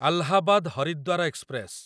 Allahabad Haridwar express